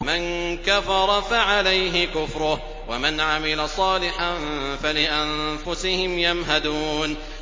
مَن كَفَرَ فَعَلَيْهِ كُفْرُهُ ۖ وَمَنْ عَمِلَ صَالِحًا فَلِأَنفُسِهِمْ يَمْهَدُونَ